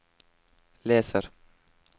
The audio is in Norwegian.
leser